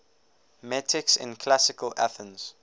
metics in classical athens